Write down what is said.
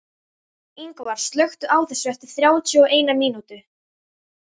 Yngvar, slökktu á þessu eftir þrjátíu og eina mínútur.